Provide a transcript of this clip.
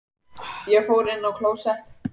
Ég fór inn á klósett.